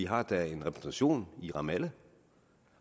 har da en repræsentation i ramallah